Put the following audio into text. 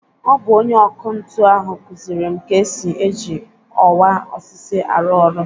Ọ bụ ọnye ọkụ ntụ ahụ kuziere m ka esi e ji ọwa osisi arụ ọrụ.